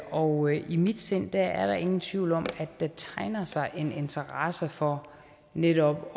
og i mit sind er der ingen tvivl om at der tegner sig en interesse for netop